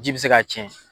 Ji bɛ se k'a tiɲɛ